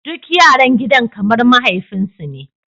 Duk yaran gidan kamar mahaifinsu ne.